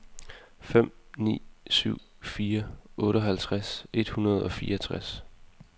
fem ni syv fire otteoghalvtreds et hundrede og fireogtres